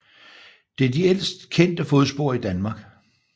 Det er de ældste kendte fodspor i Danmark